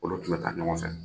Olu tun bɛ taa ɲɔgɔn fɛ.